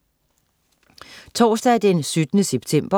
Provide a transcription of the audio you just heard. Torsdag den 17. september